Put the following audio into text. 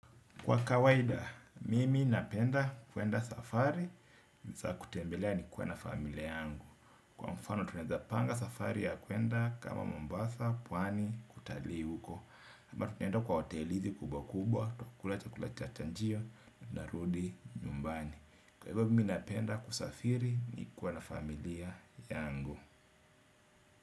Kwa kawaida, mimi napenda kuenda safari, saa ya kutembelea nikiwa na familia yangu. Kwa mfano tunaeza panga safari ya kuenda kama Mombasa, pwani kutalii huko. Ama tunenda kwa hoteli kubwa kubwa, kukula chakula cha chanjio, narudi nyumbani. Kwa hivyo mimi napenda kusafiri nikua na familia yangu.